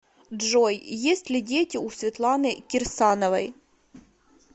джой есть ли дети у светланы кирсановой